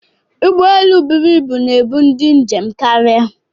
Ụgbọelu bụrụ ịbụ na-eburu ndị njem karịa.